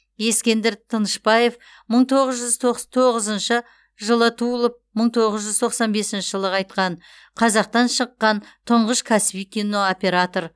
ескендір тынышбаев мың тоғыз жүз тоқс тоғызыншы жылы туылып мың тоғыз жүз тоқсан бесінші жылы қайтқан қазақтан шыққан тұңғыш кәсіби кинооператор